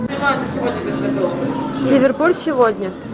ливерпуль сегодня